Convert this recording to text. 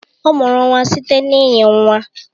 Ọ mụrụ nwa site na ịnyi nwa